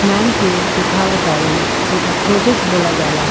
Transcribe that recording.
Ma'am के देखाव ताड़न जेका प्रोजेक्ट बोला जाला।